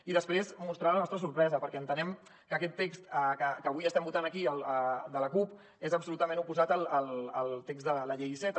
i després mostrar la nostra sorpresa perquè entenem que aquest text que avui estem votant aquí el de la cup és absolutament oposat al text de la llei iceta